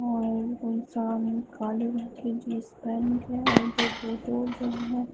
और इंसान काले रंग की जींस पहन के है और जो हैं।